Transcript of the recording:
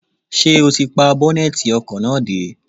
Ṣé o ti pa bọ́nẹ́tì ọkọ̀ náà dé?